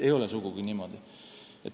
Ei ole sugugi niimoodi.